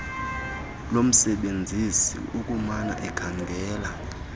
lomsebenzisi ukumana ekhangela